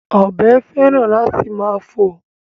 Ọ̀bọ féràn láti máa fò